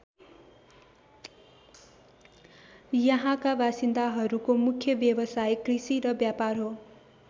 यहाँका बासिन्दाहरूको मुख्य व्यवसाय कृषि र व्यापार हो।